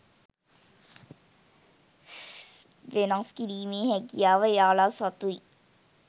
වෙනස් කිරීමේ හැකියාව එයාලා සතුයි